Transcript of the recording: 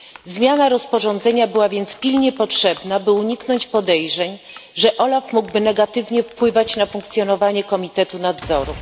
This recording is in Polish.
Zmiana rozporządzenia była więc pilnie potrzebna, by uniknąć podejrzeń, że OLAF mógłby negatywnie wpływać na funkcjonowanie Komitetu Nadzoru.